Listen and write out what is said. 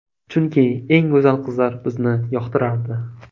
Chunki, eng go‘zal qizlar bizni yoqtirardi.